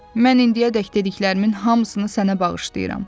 Mən indiyədək dediklərimin hamısını sənə bağışlayıram.